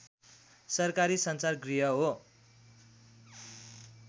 सरकारी सञ्चार गृह हो